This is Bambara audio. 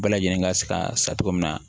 Bɛɛ lajɛlen ka se ka sa cogo min na